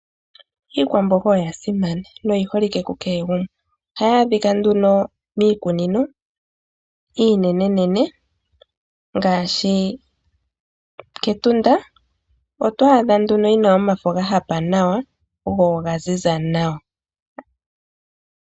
Iikwamboga oyasimana noyiholike ku kehe gumwe. Oha yaadhika nduno miikunino iinenenene ngaashi kEtunda, otwaadha nduno yina omafo gahapa nawa go ogaziza nawa.